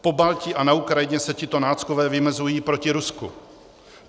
V Pobaltí a na Ukrajině se tito náckové vymezují proti Rusku.